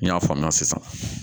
N y'a faamuya sisan